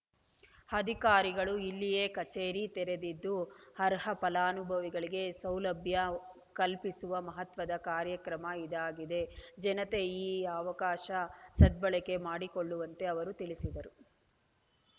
ಅಧಿಕಾರಿಗಳು ಇಲ್ಲಿಯೇ ಕಚೇರಿ ತೆರೆದಿದ್ದು ಅರ್ಹ ಫಲಾನುಭವಿಗಳಿಗೆ ಸೌಲಭ್ಯ ಕಲ್ಪಿಸುವ ಮಹತ್ವದ ಕಾರ್ಯಕ್ರಮ ಇದಾಗಿದೆ ಜನತೆ ಈ ಅವಕಾಶ ಸದ್ಭಳಕೆ ಮಾಡಿಕೊಳ್ಳುವಂತೆ ಅವರು ತಿಳಿಸಿದರು